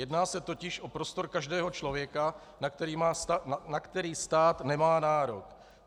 Jedná se totiž o prostor každého člověka, na který stát nemá nárok.